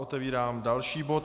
Otevírám další bod.